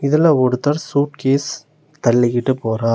இதுல ஒருத்தர் சூட்கேஸ் தள்ளி கிட்டு போறார்.